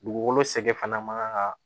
Dugukolo sɛgɛn fana man kan ka